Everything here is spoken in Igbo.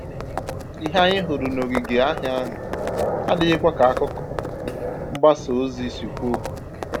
Ìhè anyị hụrụ n'òngìgè ahia ahụ adịghịkwa ka àkụ̀kọ̀ mgbasa ozi si kwuo